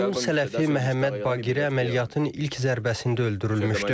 Onun sələfi Məhəmməd Baqir əməliyyatın ilk zərbəsində öldürülmüşdü.